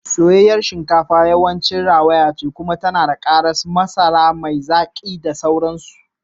Soyayyen shinkafa yawanci rawaya ce kuma tana da karas, masara mai zaki da dai sauransu.